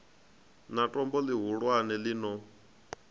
na tombo ḽihulwane ḽi no